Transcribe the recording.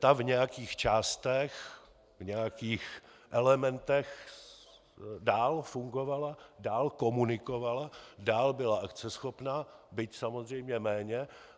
Ta v nějakých částech, v nějakých elementech dál fungovala, dál komunikovala, dál byla akceschopná, byť samozřejmě méně.